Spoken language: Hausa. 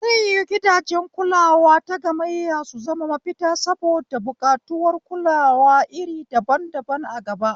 Zai yiwu gidajen kulawa tagammayya su zama mafita saboda buƙatuwar kulawa iri daban daban a gaba?